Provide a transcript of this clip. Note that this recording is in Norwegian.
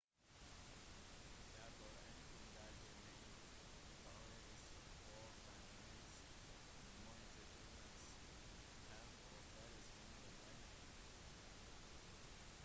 derfor ankom delhi-mage faraos forbannelse montezumas hevn og deres mange venner